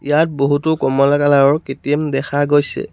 ইয়াত বহুতো কমলা কালাৰৰ কে_টি_এম দেখা গৈছে।